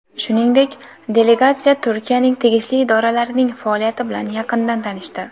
Shuningdek, delegatsiya Turkiyaning tegishli idoralarining faoliyati bilan yaqindan tanishdi.